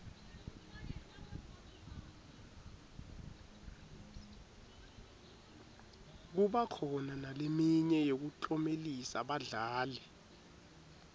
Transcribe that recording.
kuba khona naleminye yekuklomelisa badlali